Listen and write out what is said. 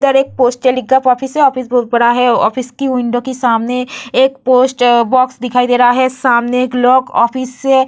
इधर एक पोस्ट टेली का ऑफिस है ऑफिस बहुत बड़ा है ऑफिस की विंडो के सामने एक पोस्ट-बॉक्स दिखाई दे रहा है सामने एक लोग ऑफिस से --